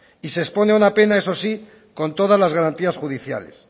y se expone a una pena eso sí con todas las garantías judiciales